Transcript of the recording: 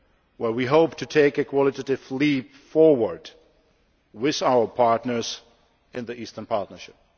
at which we hope to take a qualitative leap forward with our partners in the Eastern Partnership.